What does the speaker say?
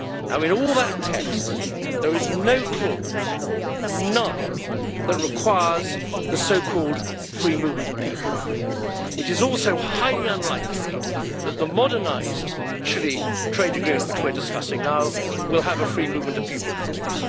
In all that text there is no clause none that requires the so called free movement of people. It is also highly unlikely that the modernised Chile trade agreement which we are discussing now will have a free movement of people clause.